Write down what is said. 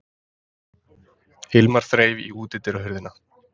Hilmar þreif í útidyrahurðina.